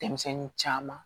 Denmisɛnnin caman